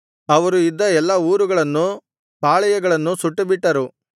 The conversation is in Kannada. ಅವರು ಇದ್ದ ಎಲ್ಲಾ ಊರುಗಳನ್ನೂ ಪಾಳೆಯಗಳನ್ನೂ ಸುಟ್ಟುಬಿಟ್ಟರು